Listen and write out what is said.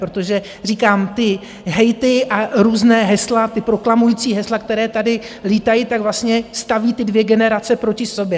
Protože říkám, ty hejty a různá hesla, ta proklamující hesla, která tady lítají, tak vlastně staví ty dvě generace proti sobě.